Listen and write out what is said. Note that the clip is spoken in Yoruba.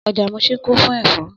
Ọjà Muṣin kún fún ẹ̀fọ́